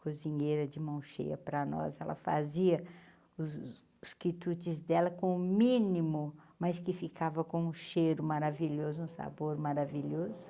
cozinhera de mão cheia para nós, ela fazia os os quitudes dela com o mínimo, mas que ficava com um cheiro maravilhoso, um sabor maravilhoso.